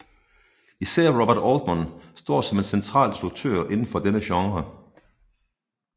Især Robert Altman står som en central instruktør inden for denne genre